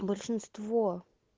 большинство